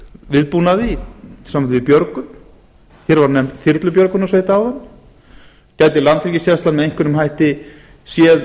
viðbúnaði í sambandi við björgun hér var nefnt þyrlubjörgunarsveit áðan gæti landhelgisgæslan með einhverjum hætti séð